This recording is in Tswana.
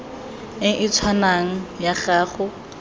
e e tshwanang ya go